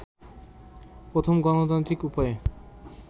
প্রথম গণতান্ত্রিক উপায়ে